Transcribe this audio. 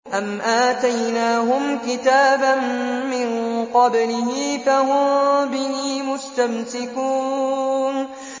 أَمْ آتَيْنَاهُمْ كِتَابًا مِّن قَبْلِهِ فَهُم بِهِ مُسْتَمْسِكُونَ